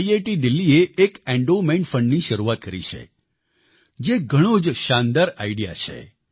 IIT દિલ્હીએ એક endowment fundની શરૂઆત કરી છે જે એક ઘણો જ શાનદાર આઇડીઇએ છે